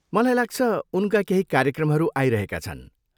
मलाई लाग्छ, उनका केही कार्यक्रमहरू आइरहेका छन्।